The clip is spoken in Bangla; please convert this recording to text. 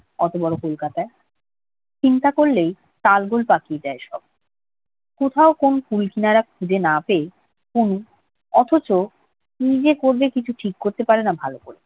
অত বড় কলকাতায়? চিন্তা করলেই তালগোল পাকিয়ে যায় সব। কোথাও কোনো কূল কিনারা খুঁজে না পেয়ে তনু অথচ কি যে করবে কিছু ঠিক করতে পারে না ভালো করে।